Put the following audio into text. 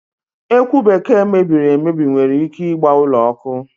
Ekwụ Bekee mebiri emebi nwere ike ịgba ụlọ ọkụ.